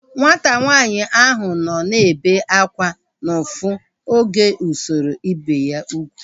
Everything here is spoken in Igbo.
Nwata nwaanyị ahu nọ na-ebe akwa n'ufu oge usoro ibi ya ugwu